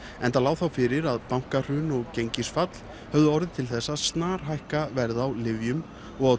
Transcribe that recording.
enda lá þá fyrir að bankahrun og gengisfall höfðu orðið til að snarhækka verð á lyfjum og